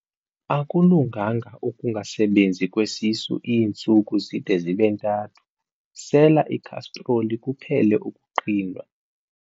Akulunganga ukungasebenzi kwesisu iintsuku zide zibe ntathu, sela ikhastroli kuphele ukuqhinwa.